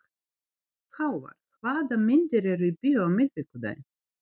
Hávar, hvaða myndir eru í bíó á miðvikudaginn?